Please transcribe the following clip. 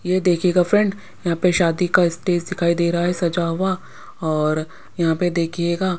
ये देखिएगा फ्रेंड यहाँ पे शादी का स्टेज दिखाई दे रहा है सजा हुआ और यहाँ पे देखिएगा --